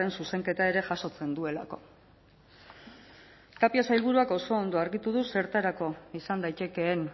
zuzenketa ere jasotzen duelako tapia sailburuak oso ondo argitu du zertarako izan daitekeen